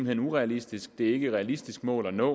hen urealistisk det er ikke et realistisk mål at nå